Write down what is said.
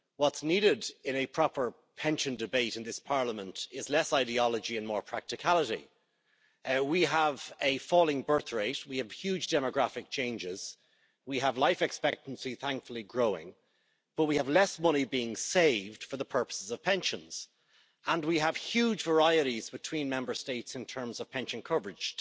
What is needed in a proper pension debate in this Parliament is less ideology and more practicality. We have a falling birth rate, we have huge demographic changes, we have life expectancy, thankfully, growing, but we have less money being saved for the purposes of pensions, and we have huge varieties between Member States in terms of pension coverage.